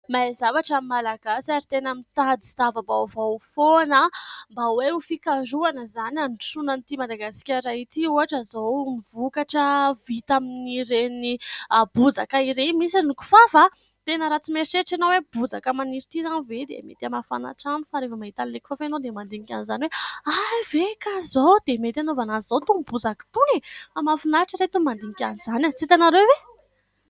Mahay zavatra ny Malagasy ary tena mitady zavabaovao foana mba hoe ho fikarohana izany handrosoana an'ity Madagasikara ity, ohatra izao vokatra vita amin'ireny bozaka ireny misy ny kifafa, tena raha tsy mieritreritra ianao hoe bozaka maniry ity izany ve dia mety hamafana trano fa rehefa mandinika an'ilay kifafa ianao dia mandinika an'izany hoe hay ve ka izao dia mety hanaovana an'izao itony bozaka itony ? Fa mahafinaritra reto ny mandinika an'izany, tsy hitanareo ve ?